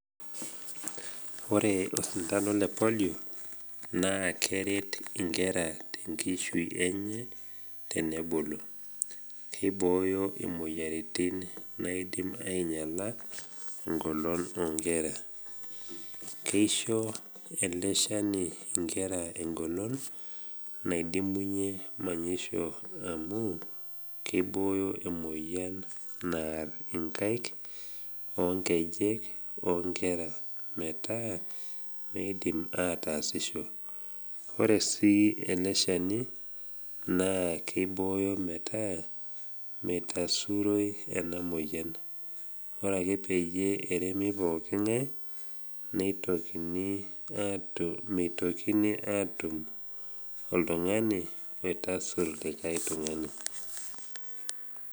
Ore osindano le polio naa keret inkera tenkishui enye tenebulu. Keibooyo imoyiaritin naidim ainyal engolon o nkera. Kesho ele shani inkera engolon naidimunye manyisho amu keibooyo emoyian naar inkaik o nkejek o nkera metaa meidim ataasisho. Ore sii ele shani naa keibooyo metaa meitasuroi ena moyian, ore ake peyie eremi pooki ng’ai, meitokini atum oltung’ani oitashur likai tung’ani.